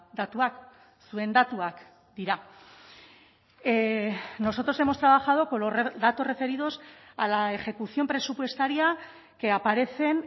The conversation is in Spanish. datuak zuen datuak dira nosotros hemos trabajado con los datos referidos a la ejecución presupuestaria que aparecen